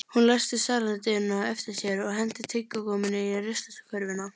Hún læsti salernisdyrunum á eftir sér og henti tyggigúmmíinu í ruslakörfuna